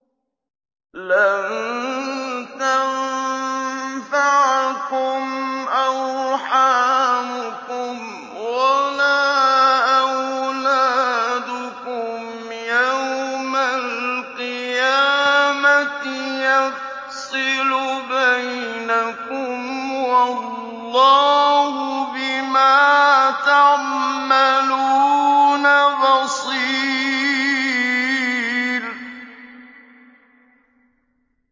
لَن تَنفَعَكُمْ أَرْحَامُكُمْ وَلَا أَوْلَادُكُمْ ۚ يَوْمَ الْقِيَامَةِ يَفْصِلُ بَيْنَكُمْ ۚ وَاللَّهُ بِمَا تَعْمَلُونَ بَصِيرٌ